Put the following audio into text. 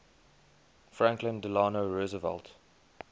franklin delano roosevelt